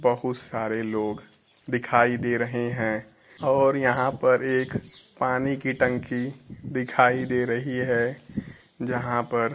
बहुत सारे लोग दिखाई दे रहे हैं और यहां पर एक पानी की टंकी दिखाई दे रही हैं जहां पर--